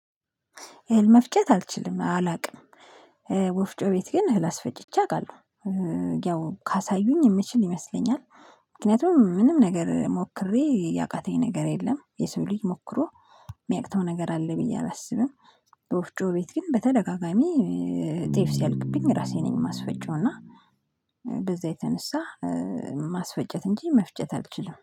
እህል መፍጨት አልችልም አላውቅም። ወፍጮ ቤት ግን እህል አስፈጭቼ አውቃለሁ። ያው ካሳዩኝ የምችል ይመስለኛል። ምክንያቱም ምንም ነገር ሞክሬ ያቃተኝ ነገር የለም የሰው ልጅ ሞክሮ የሚያቅተው ነገር አለ ብዬ አላስብም። ወፍጮ ቤት ግን በተደጋጋሚ ጤፍ ሲያልቅብኝ ራሴ ነኝ የማስፈጨው እና በዛ የተነሳ ማስፈጨት እንጂ መፍጨት አልችልም